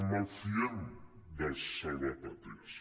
malfiem dels salvapàtries